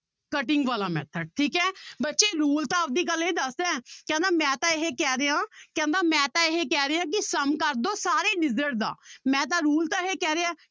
Cutting ਵਾਲਾ method ਠੀਕ ਹੈ ਬੱਚੇ rule ਤਾਂ ਆਪਦੀ ਗੱਲ ਇਹ ਦੱਸਦਾ ਕਹਿੰਦਾ ਮੈਂ ਤਾਂ ਇਹ ਕਹਿ ਰਿਹਾਂ ਕਹਿੰਦਾ ਮੈਂ ਤਾਂ ਇਹ ਕਹਿ ਰਿਹਾਂ ਕਿ sum ਕਰਦੋ ਸਾਰੇ digit ਦਾ ਮੈਂ ਤਾਂ rule ਤਾਂ ਇਹ ਕਹਿ ਰਿਹਾ